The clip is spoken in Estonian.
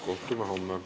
Kohtume homme.